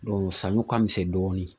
saɲɔ ka misɛn dɔɔni.